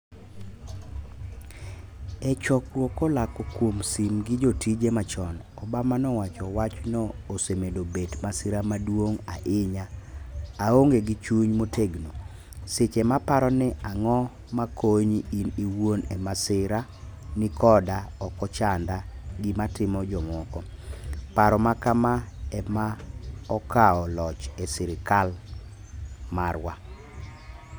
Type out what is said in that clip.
e chokruok kolako kuom sim gi jotije machon, Obama nowacho, wachno osemedo bet masira maduong ahinya aonge gi chung motegno. seche ma paro ni ang'o ma konyi in iwuon e masira ni koda okochanda gima timo jomoko. paro ma kama ema okao loch e sirikal marwa.